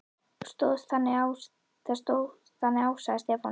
Þá stóð þannig á, að Stefán